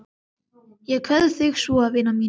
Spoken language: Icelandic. Ég kveð þig svo vina mín.